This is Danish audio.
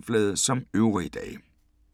Samme programflade som øvrige dage